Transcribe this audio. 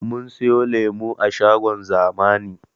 Mun siyo lemo a shagon zamani